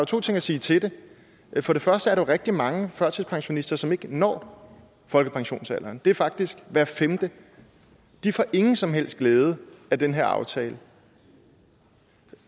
to ting at sige til det for det første er der rigtig mange førtidspensionister som ikke når folkepensionsalderen det er faktisk hver femte de får ingen som helst glæde af den her aftale